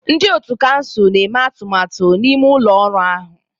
Ndị ọ̀tú kansụl na-eme atụmatụ n'ime ụlọ ọrụ ahụ.